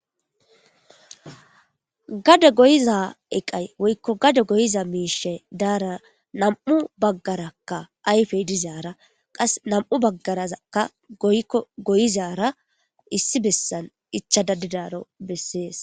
gade goyiza eqay woykko gade goyiza miishe daara nam7u baggarakka ayfey dizaara qas nam7u baggarazakka goykko goyizara issi bessan ichadadidaro bessees